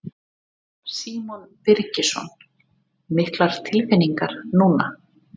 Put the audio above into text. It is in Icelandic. Símon Birgisson: Miklar tilfinningar núna?